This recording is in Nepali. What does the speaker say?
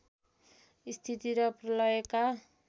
स्थिति र प्रलयका